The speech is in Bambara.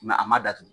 a ma datugu